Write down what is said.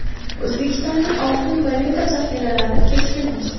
O‘zbekistonning oltin valyuta zaxiralari keskin o‘sdi.